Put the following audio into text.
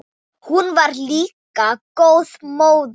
Hún var líka góð móðir.